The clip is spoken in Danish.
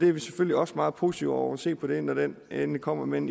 er selvfølgelig også meget positive over for at se på det når det endelig kommer men